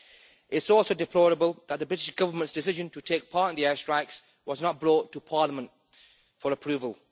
It is also deplorable that the British Government's decision to take part in the air strikes was not brought to Parliament for approval.